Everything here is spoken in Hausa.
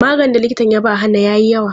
Maganin da likita ya ba Hannah yayi yawa.